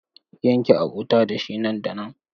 Yanke abota da shi nan da nan!